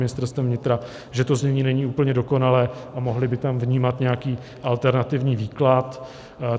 Ministerstvem vnitra, že to znění není úplně dokonalé a mohli by tam vnímat nějaký alternativní výklad.